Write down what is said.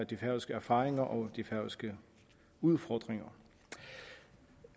de færøske erfaringer og de færøske udfordringer